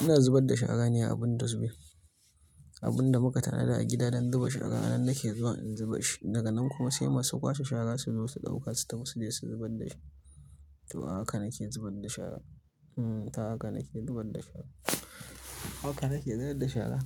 Ina zubar da shara ne abin dosbin, abin da muka tanada a gida don zuba shara. Nan nake zuwa in zuba shi, daga nan kuma sai masu kwashe shara su zo su ɗauka su tafi su je su zubar da shi. To, haka nake zubar da shara. Hmm, ta haka nake zubar da shara. Haka nake zubar da shara.